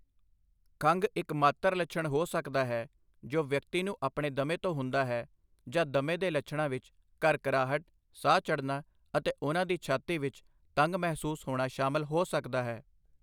ਖੰਘ ਇਕਮਾਤਰ ਲੱਛਣ ਹੋ ਸਕਦਾ ਹੈ ਜੋ ਵਿਅਕਤੀ ਨੂੰ ਆਪਣੇ ਦਮੇ ਤੋਂ ਹੁੰਦਾ ਹੈ, ਜਾਂ ਦਮੇ ਦੇ ਲੱਛਣਾਂ ਵਿੱਚ ਘਰਘਰਾਹਟ, ਸਾਹ ਚੜ੍ਹਨਾ, ਅਤੇ ਉਹਨਾਂ ਦੀ ਛਾਤੀ ਵਿੱਚ ਤੰਗ ਮਹਿਸੂਸ ਹੋਣਾ ਸ਼ਾਮਲ ਹੋ ਸਕਦਾ ਹੈ।